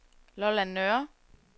Lolland Nørre